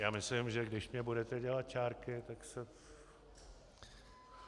Já myslím, že když mi budete dělat čárky, tak se...